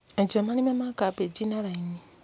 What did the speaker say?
Enja marima ma kambĩnji na raini.